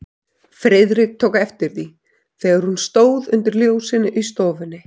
Friðrik tók eftir því, þegar hún stóð undir ljósinu í stofunni.